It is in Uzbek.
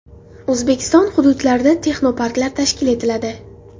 O‘zbekiston hududlarida texnoparklar tashkil etiladi.